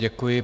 Děkuji.